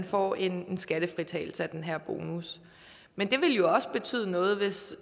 få en skattefritagelse af den her bonus men det ville jo også betyde noget hvis